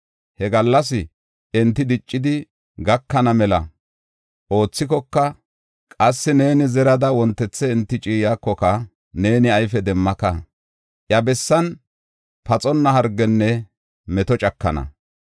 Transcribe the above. he gallas enti diccidi gakana mela oothikoka, qassi neeni zerida wontethe enti ciiyakoka neeni ayfe demmaka. Iya bessan paxonna hargenne meto cakana.